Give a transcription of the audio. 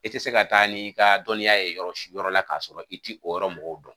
I tɛ se ka taa n'i ka dɔnniya ye yɔrɔ yɔrɔ la k'a sɔrɔ i tɛ o yɔrɔ mɔgɔw dɔn